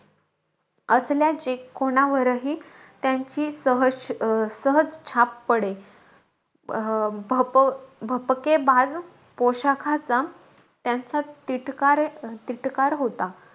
असल्याचे कोणावरही, त्यांची सहज अं सहज छाप पडेल. भप अं भपकेबाज पोशाखाचा त्यांचा तिटकारे तिटकार होता.